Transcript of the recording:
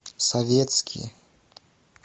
советские